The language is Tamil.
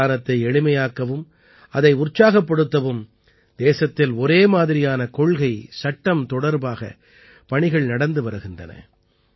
அங்க தானத்தை எளிமையாக்கவும் அதை உற்சாகப்படுத்தவும் தேசத்தில் ஒரே மாதிரியான கொள்கைசட்டம் தொடர்பாக பணிகள் நடந்து வருகின்றன